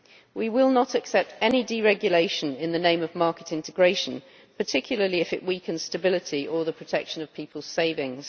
We will not accept any deregulation in the name of market integration, particularly if it weakens stability or the protection of people's savings.